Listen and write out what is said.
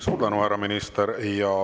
Suur tänu, härra minister!